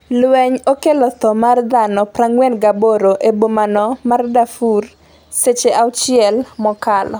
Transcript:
lweny okelo tho mar dhano 48 e bomano ma Darfur seche auchiel mokalo